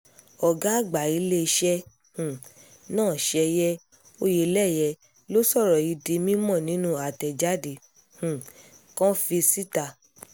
ọ̀gá àgbà iléeṣẹ́ um náà ṣẹ̀yẹ oyeleye ló sọ̀rọ̀ yìí di mímọ́ nínú àtẹ̀jáde um kànfì síta